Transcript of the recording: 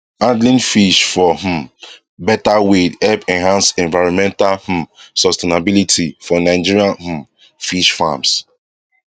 handling fish for um better way help enhance environmental um sustainability for nigerian um fish farms